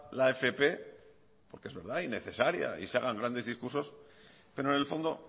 la fp porque es verdad y necesaria y se hagan grandes discursos pero en el fondo